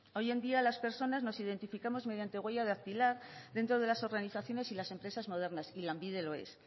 hoy en día las personas nos identificamos mediante huella dactilar dentro de las organizaciones y las empresas modernas y lanbide lo es